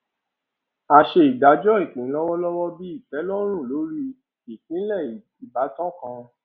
a ṣe ìdájọ ìpín lọwọlọwọ bí ìtẹlọrùn lórí ìpìlẹ ìbátan kan